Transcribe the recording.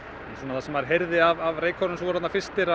það sem maður heyrði af reykköfurunum sem voru þarna fyrstir